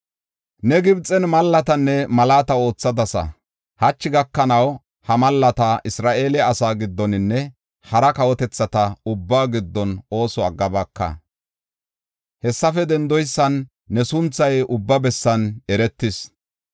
“Ne Gibxen malaatanne mallata oothadasa; hachi gakanaw ha mallata Isra7eele asaa giddoninne hara kawotethata ubbaa giddon ooso aggabaaka. Hessafe dendoysan ne sunthay ubba bessan eretis.